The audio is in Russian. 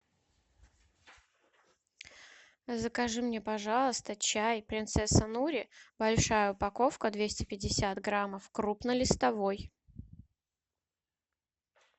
закажи мне пожалуйста чай принцесса нури большая упаковка двести пятьдесят граммов крупнолистовой